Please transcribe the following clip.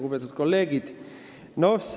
Lugupeetud kolleegid!